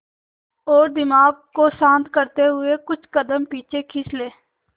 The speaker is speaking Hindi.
और दिमाग को शांत करते हुए कुछ कदम पीछे खींच लें